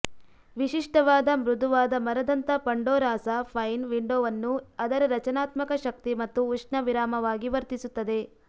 ವಿಶಿಷ್ಟವಾದ ಮೃದುವಾದ ಮರದಂಥ ಪಂಡೋರಾಸಾ ಪೈನ್ ವಿಂಡೋವನ್ನು ಅದರ ರಚನಾತ್ಮಕ ಶಕ್ತಿ ಮತ್ತು ಉಷ್ಣ ವಿರಾಮವಾಗಿ ವರ್ತಿಸುತ್ತದೆ